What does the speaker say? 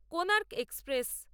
Konark express